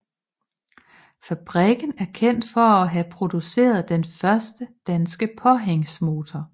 Fabrikken er kendt for at have produceret den første danske påhængsmotor